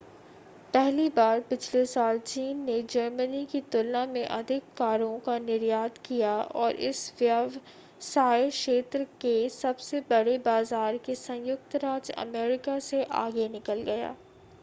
पहली बार पिछले साल चीन ने जर्मनी की तुलना में अधिक कारों का निर्यात किया और इस व्यवसाय क्षेत्र के सबसे बड़े बाजार के संयुक्त राज्य अमेरिका से आगे निकल गया